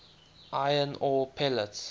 iron ore pellets